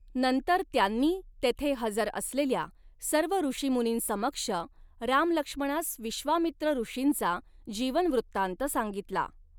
नंतर त्यांनी तेथे हजर असलेल्या सर्व ऋषीमुनींसमक्ष रामलक्ष्मणांस विश्वामित्र ऋषींचा जीवनवृत्तांत सांगितला.